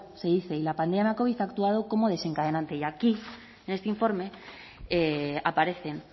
se dice y la pandemia covid ha actuado como desencadenante y aquí en este informe aparecen